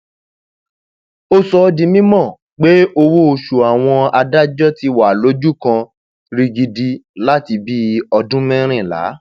ó sọ ọ di mímọ pé owóoṣù àwọn um adájọ ti wà lójú kan um rigidi láti bíi ọdún mẹrìnlá